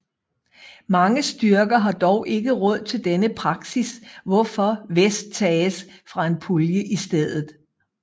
Mange styrker har dog ikke råd til denne praksis hvorfor vest tages fra en pulje i stedet